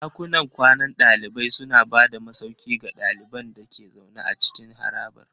Ɗakunan kwanan ɗalibai suna ba da masauki ga ɗaliban da ke zaune a cikin harabar.